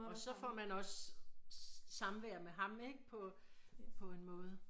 Og så får man også samvær med ham ikke på på en måde